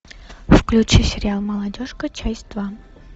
включи сериал молодежка часть два